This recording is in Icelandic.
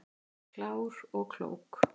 Klár og klók